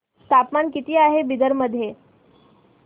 तापमान किती आहे बिदर मध्ये